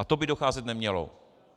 A to by docházet nemělo.